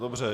Dobře.